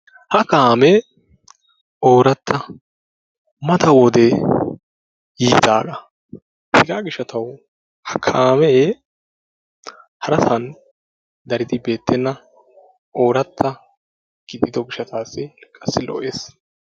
ha kaamee oorata, mata wode yiidaagaa, hegaa gishawu ha kaame harasan daridi beetenna oorata gididdo gishataassi qassi lo'ees.